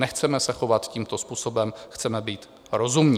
Nechceme se chovat tímto způsobem, chceme být rozumní.